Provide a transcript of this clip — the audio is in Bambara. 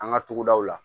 An ka togodaw la